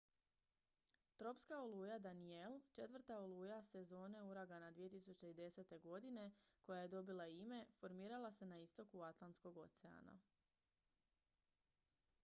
tropska oluja danielle četvrta oluja sezone uragana 2010. godine koja je dobila ime formirala se na istoku atlantskog oceana